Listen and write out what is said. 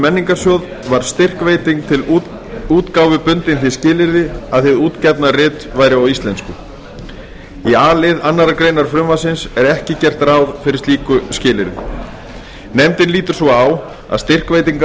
menningarsjóð var styrkveiting til útgáfu bundin því skilyrði að hið útgefna rit væri á íslensku í a lið annarrar greinar frumvarpsins er ekki gert ráð fyrir slíku skilyrði nefndin lítur svo á að styrkveitingar